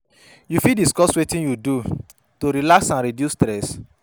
You fit discuss wetin you do to relax and reduce stress?